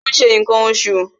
ó n se nkan osù